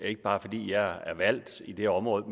ikke bare fordi jeg er valgt i det område